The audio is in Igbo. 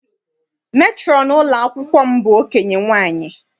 Metrọn ụlọ akwụkwọ m bụ okenye nwaanyị.